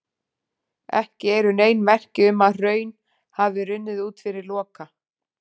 Ekki eru nein merki um að hraun hafi runnið út fyrir Loka.